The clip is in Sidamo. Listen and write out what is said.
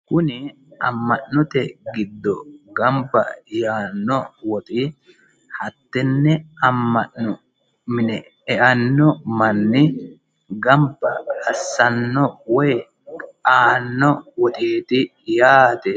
Kuni amma'note giddo gamba yaanno woxi hattenne amma'note mine eano manni gamba assanno woyi aanno woxeeti yaate.